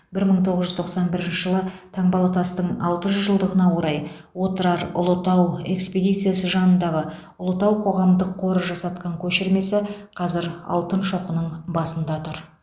бір мың тоғыз жүз тоқсан бірінші жылы таңбалытастың алты жүз жылдығына орай отырар ұлытау экспедициясы жанындағы ұлытау қоғамдық қоры жасатқан көшірмесі қазір алтын шоқының басында тұр